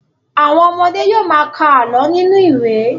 Àwọn ọmọdé yóò ma ka àlọ́ nínú ìwé.